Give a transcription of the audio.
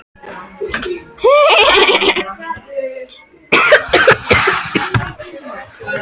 Borsvarfið er alllangan tíma á leið upp eftir holunni.